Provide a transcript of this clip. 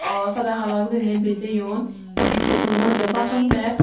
orpade hala guriney bijiyon indi ekko burow manus aye baason derr.